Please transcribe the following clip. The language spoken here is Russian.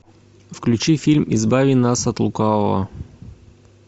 включи фильм избави нас от лукавого